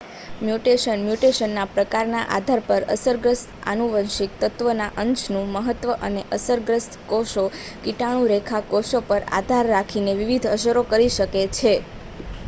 mutation મ્યુટેશનના પ્રકારના આધાર પર અસરગ્રસ્ત આનુવંશિક તત્વના અંશનું મહત્વ અને અસરગ્રસ્ત કોષો કીટાણુ-રેખા કોષો પર આધાર રાખીને વિવિધ અસરો કરી શકે છે